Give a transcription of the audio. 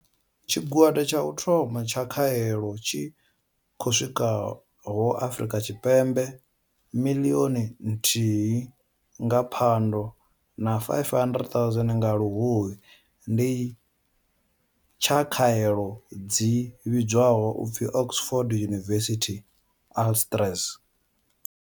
Tshigwada tsha u thoma tsha khaelo tshi khou swikaho Afrika Tshipembe miḽioni nthihi nga Phando na 500 000 nga Luhuhi ndi tsha khaelo dzi vhidzwaho u pfi Oxford University-AstraZ.